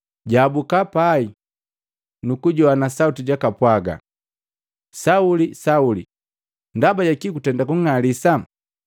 jwaabuka pai, nukujoana sauti jumpwagi, “Sauli, Sauli” Ndaba jaki gutenda kuning'alisa?